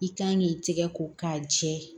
I kan k'i tigɛ ko k'a jɛ